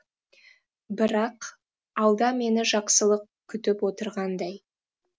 бірақ алда мені жақсылық күтіп отырғандай